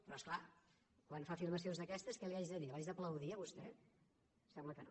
però és clar quan fa afirmacions d’aquestes què li hagi de dir l’haig d’aplaudir a vostè em sembla que no